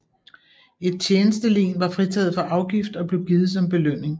Et tjenestelen var fritaget for afgift og blev givet som belønning